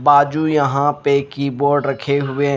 बाजू यहां पे की बोर्ड रखे हुए।